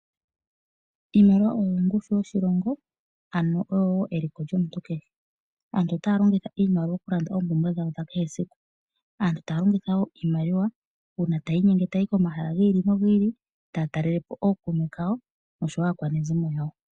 Iimaliwa oyo ongushu yoshilongo, ano oyo wo eliko lyomuntu kehe. Aantu otaya longitha iimaliwa okulanda oompumbwe dhawo dhesiku kehe. Aantu taya longitha wo iimaliwa uuna taya inyenge taya yi komahala gi ili nogi ili, taya talelepo ookuume kawo, oshowo aakwanezimo yawo.